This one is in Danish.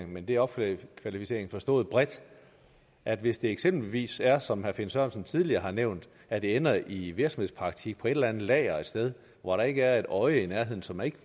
men det er opkvalificering forstået bredt at hvis det eksempelvis er som herre finn sørensen tidligere har nævnt at det ender i virksomhedspraktik på et eller andet lager et sted hvor der ikke er et øje i nærheden så man ikke